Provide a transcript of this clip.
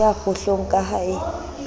ya kgohlong ka ha e